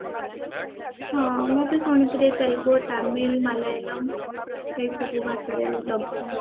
ହଁ ମୁଁ ବି ଶୁଣିଥିଲି ତେଲଗୁ ତାମିଲ ମାଲୟାଲମ ଏସବୁ ଭାଷାରେ ହେଇଛି